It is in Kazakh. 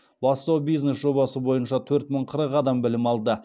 бастау бизнес жобасы бойынша төрт мың қырық адам білім алды